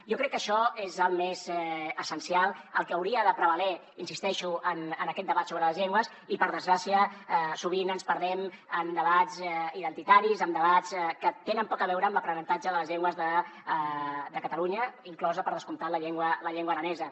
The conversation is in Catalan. jo crec que això és el més essencial el que hauria de prevaler hi insisteixo en aquest debat sobre les llengües i per desgràcia sovint ens perdem en debats identitaris en debats que tenen poc a veure amb l’aprenentatge de les llengües de catalunya inclosa per descomptat la llengua aranesa